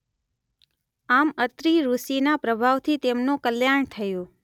આમ અત્રિઋષિના પ્રભાવથી તેમનું કલ્યાણ થયું.